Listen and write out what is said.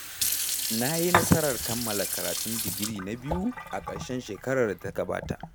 Na yi nasarar kammala karatun digiri na biyu, a ƙarshen shekarar da ta gabata.